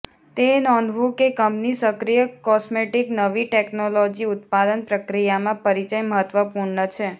તે નોંધવું કે કંપની સક્રિય કોસ્મેટિક નવી ટેકનોલોજી ઉત્પાદન પ્રક્રિયામાં પરિચય મહત્વપૂર્ણ છે